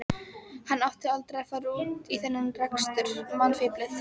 Hann átti aldrei að fara út í þennan rekstur, mannfíflið!